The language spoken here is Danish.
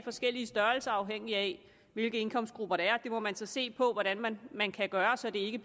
forskellige størrelser afhængig af hvilke indkomstgrupper der det må man så se på hvordan man man kan gøre så det ikke